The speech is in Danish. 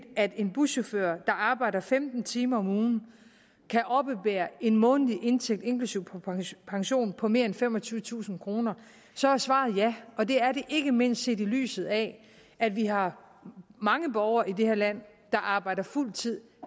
at en buschauffør der arbejder femten timer om ugen kan oppebære en månedlig indtægt inklusive pension på mere end femogtyvetusind kr så er svaret ja og det er det ikke mindst set i lyset af at vi har mange borgere i det her land der arbejder fuld tid